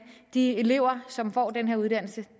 de elever som får den her uddannelse